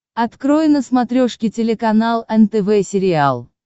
открой на смотрешке телеканал нтв сериал